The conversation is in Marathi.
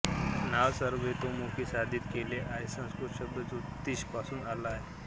नाव सर्वतोमुखी साधित केलेली आहे संस्कृत शब्द ज्योतिष पासून आला आहे